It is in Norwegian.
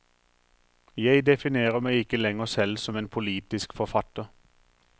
Jeg definerer meg ikke lenger selv som en politisk forfatter.